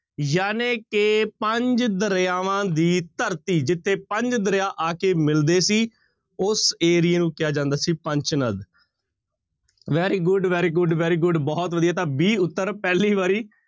ਜਾਣੀ ਕਿ ਪੰਜ ਦਰਿਆਵਾਂ ਦੀ ਧਰਤੀ ਜਿੱਥੇ ਪੰਜ ਦਰਿਆ ਆ ਕੇ ਮਿਲਦੇ ਸੀ ਉਸ ਏਰੀਏ ਨੂੰ ਕਿਹਾ ਜਾਂਦਾ ਸੀ ਪੰਚ ਨਦ very good, very good, very good ਬਹੁਤ ਵਧੀਆ ਤਾਂ b ਉੱਤਰ ਪਹਿਲੀ ਵਾਰੀ